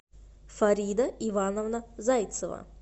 фарида ивановна зайцева